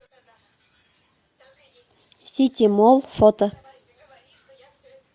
сити молл фото